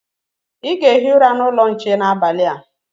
Ị ga-ehi ụra n'ụlọ nche n'abalị a.